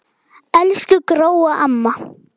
Elsku Gróa amma.